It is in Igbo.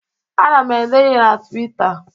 Ana m ede ihe na Twịta.